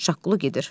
Şaqqulu gedir.